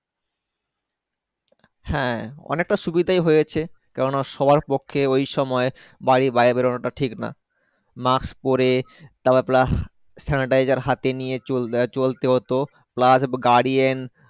হ্যাঁ অনেকটা সুবিধা হয়েছে কারণ সবার পক্ষে ওই সময় বাড়ি বাইরে বেড়ানো টা ঠিক না Mask পরে তারপর Plus Sanitizer হাতে নিয়ে চল চলতে হতো plus গাড়ি